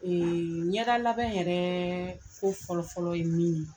Ee ɲɛda labɛn yɛrɛ fo fɔlɔfɔlɔ ye min ye...